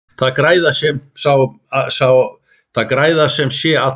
Það græða sem sé allir.